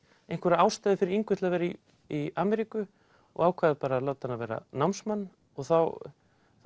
einhverja ástæðu fyrir Ingu til að vera í í Ameríku og ákvað að láta hana vera námsmann og þá